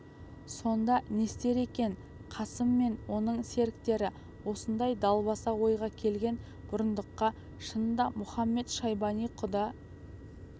сонда не істер екен қасым мен оның серіктері осындай далбаса ойға келген бұрындыққа шынында мұхамед-шайбани құда